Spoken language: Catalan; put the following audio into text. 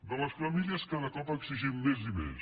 de les famílies cada cop n’exigim més i més